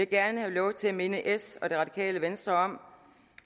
gerne have lov til at minde s og det radikale venstre om